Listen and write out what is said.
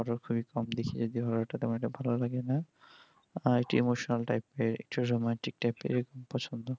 horror খুবই কম দেখি যেহুতু আমার horror আমাকে ভালো লাগে না আর কি emotional এর romantic এর পছন্দ